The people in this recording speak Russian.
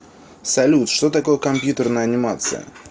салют что такое компьютерная анимация